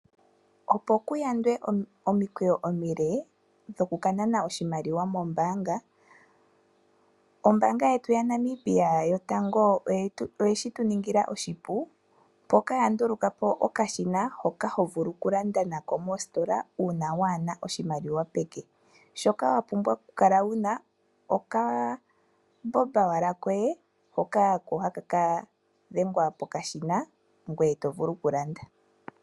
Opo kuyandwe momikweyo omile dhokukanana oshimaliwa mombaanga ombanga yetu yaNamibia yotango oye shituningila oshipu mpoka yandulukapo okashina hoko hovulu okulanda nako mositola uuna waana oshimaliwa peke. Owapumbwa oshike okambomba koye hono hakadhengwa mokashina gwee tovulu okulanda.